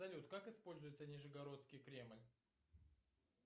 салют как используется нижегородский кремль